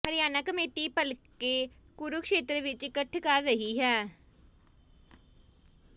Haryana committee ਭਲਕੇ ਕੁਰੂਕਸ਼ੇਤਰ ਵਿੱਚ ਇਕੱਠ ਕਰ ਰਹੀ ਹੈ